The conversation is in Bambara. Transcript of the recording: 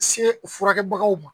Se o furakɛbagaw ma